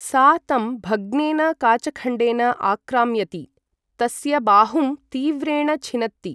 सा तं भग्नेन काचखण्डेन आक्राम्यति, तस्य बाहुं तीव्रेण छिनत्ति।